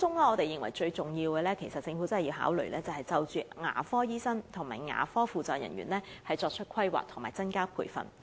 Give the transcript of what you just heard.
我們認為當中最重要的是，政府必須就牙科醫生和牙科輔助人員的供應作出規劃和增加培訓。